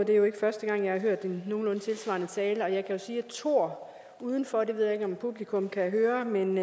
det er jo ikke første gang jeg har hørt en nogenlunde tilsvarende tale og jeg kan sige at thor er udenfor det ved jeg ikke om publikum kan høre men